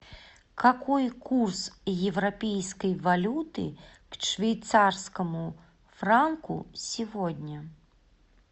какой курс европейской валюты к швейцарскому франку сегодня